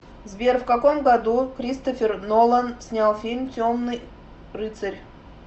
сбер в каком году кристофер нолан снял фильм темныи рыцарь